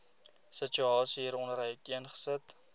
situasie hieronder uiteengesit